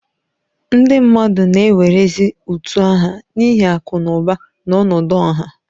Ndị mmadụ na-ewerezi utu aha n'ihi akụ na ụba na ọnọdụ ọha